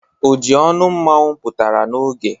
Ojionu Mmanwu putara n'oge